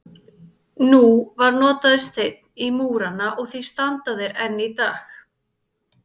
Nú var notaður steinn í múrana og því standa þeir enn í dag.